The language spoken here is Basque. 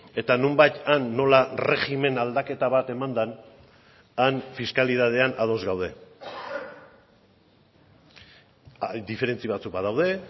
eta nonbait han nola erregimen aldaketa bat eman den han fiskalidadean ados gaude diferentzia batzuk badaude